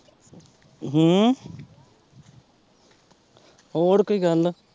ਹਮ ਹੋਰ ਕੋਈ ਗੱਲ